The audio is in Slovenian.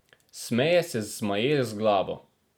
Smeje se zmaje z glavo.